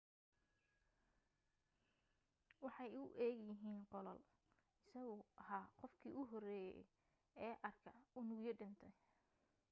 waxay u eeg yihiin qollaal isaguu ahaa qofkii ugu horeeyay ee arka unugyo dhintay